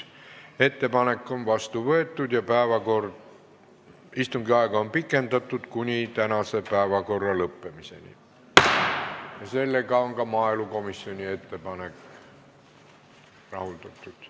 Ettepanek on vastu võetud ja istungi aega on pikendatud kuni tänase päevakorra lõppemiseni ning sellega on ka maaelukomisjoni ettepanek rahuldatud.